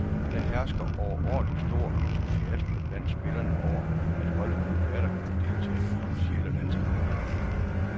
Der hersker overordentlig stor entusiasme blandt spillerne over, at holdet nu atter kan deltage i officielle landskampe.